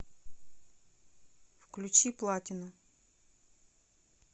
включи платину